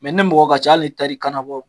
Mɛ ni mɔgɔ ka ca ali n'i tara i kan nabɔ